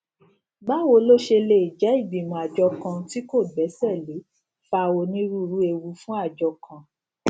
báwo ló ṣe jé ìgbìmọ àjọ kan tí kò gbéṣé lè fa onírúurú ewu fún àjọ kan